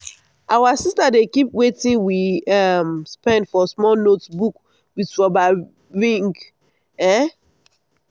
our sister dey keep watin we um spend for small notebook with rubber ring. um